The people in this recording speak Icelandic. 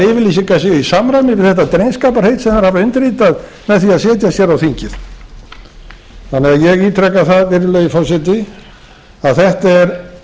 yfirlýsingar séu í samræmi við þetta drengskaparheit sem þeir hafa undirritað með því að setjast á þingið þannig að ég ítreka það virðulegi forseti að þetta er